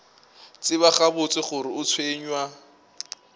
tseba gabotse gore o tshwenywa